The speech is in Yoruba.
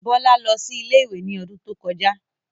Bọ́lá lọ sí ilé-ìwé ní odún tó kọjá